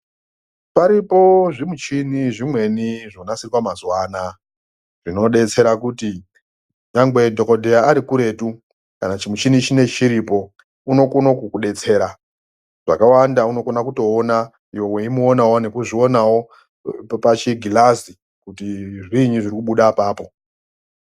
Paripo zvimuchini zvimweni zvonasirwa mazuva anaya zvinodetsera kuti nyangwe dhogodheya arikuretu, kana chimuchini chinochi chiripo, unokona kukudetsera. Zvakawanda unokona kutoona iwe weimuonawo, weizvionawo pachigirazi kuti zviinyi zvirikubuda apapo.